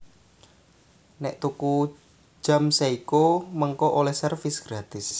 Nek tuku jam Seiko mengko oleh servis gratis